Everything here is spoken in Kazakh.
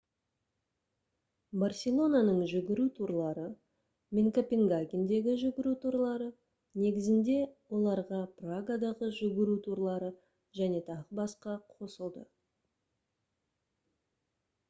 барселонаның «жүгіру турлары» мен копенгагендегі «жүгіру турлары» негізінде оларға прагадағы «жүгіру турлары» және т.б. қосылды